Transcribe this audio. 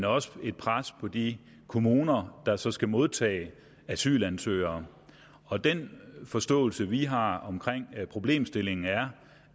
også et pres på de kommuner der så skal modtage asylansøgere og den forståelse vi har omkring problemstillingen er